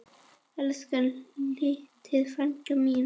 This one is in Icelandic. Elsku litli frændi minn.